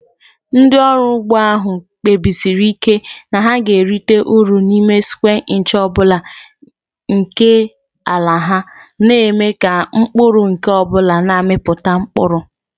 Ndị ọrụ ugbo ahụ kpebisiri ike na ha ga-erite uru n'ime square inch ọ bụla nke ala ha, na-eme ka mkpụrụ nke ọ bụla na-amịpụta mkpụrụ.